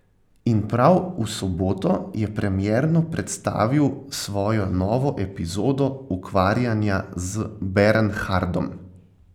In prav v soboto je premierno predstavil svojo novo epizodo ukvarjanja z Bernhardom.